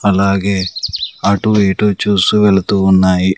అలాగే అటు ఇటు చూస్తూ వెళ్తూ ఉన్నాయి.